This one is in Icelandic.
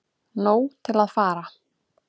Nóg til að fara